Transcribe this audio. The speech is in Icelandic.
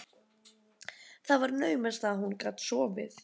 Það var naumast að hún gat sofið.